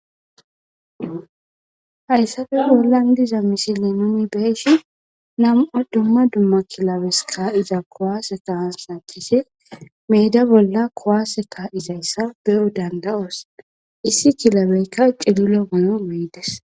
Hayisape bollan diza misilan nu be'ishin na'mu duma duma kilebetako kaiza ku'ase meda bolla ku'ase ka'iza be'o danida'os issi cilebeyika cililo mayo ma'is